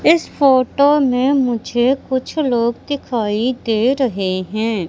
इस फोटो में मुझे कुछ लोग दिखाई दे रहे हैं।